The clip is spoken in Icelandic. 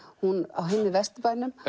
hún á heima í Vesturbænum